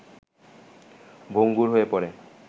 ভঙ্গুর হয়ে পড়ে